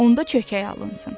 onda çökək alınsın.